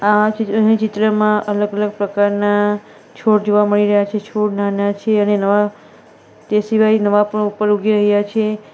આ ચિત્ર છે ચિત્રમાં અલગ-અલગ પ્રકારના છોડ જોવા મળી રહ્યા છે છોડ નાના છે અને નવા તે સિવાય નવા પણ ઉપર ઉગી રહ્યા છે.